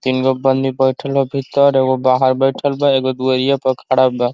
तीन गो बइठल ह भित्तर। एगो बाहर बइठल बा। एगो दुवरिया पे खड़ा बा।